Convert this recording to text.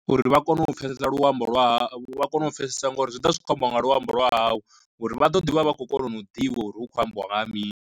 Uri vha kone u pfhesesa luambo lwa ha vha kone u pfhesesa ngori zwi ḓovha zwi kho ambiwa nga luambo lwa hawu, uri vha ḓo ḓi vha vha khou kona u ḓivha uri hu khou ambiwa nga ha mini.